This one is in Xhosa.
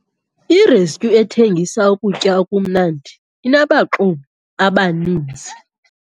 Irestyu ethengisa ukutya okumnandi inabaxumi abaninzi.